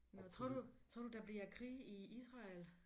Nåh tror du tror du der bliver krig i Israel?